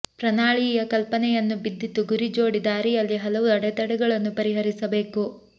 ಪ್ರನಾಳೀಯ ಕಲ್ಪನೆಯನ್ನು ಬಿದ್ದಿತು ಗುರಿ ಜೋಡಿ ದಾರಿಯಲ್ಲಿ ಹಲವು ಅಡೆತಡೆಗಳನ್ನು ಪರಿಹರಿಸಬೇಕು